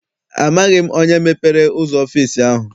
Amaghị m onye mepere ụzọ ọfịịsi ahụ.